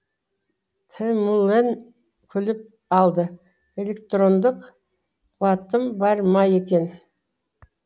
тімүлэн күліп алды электрондық қуатым бар ма екен